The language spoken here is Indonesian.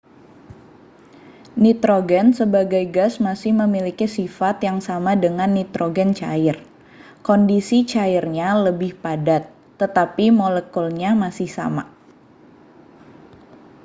nitrogen sebagai gas masih memiliki sifat yang sama dengan nitrogen cair kondisi cairnya lebih padat tetapi molekulnya masih sama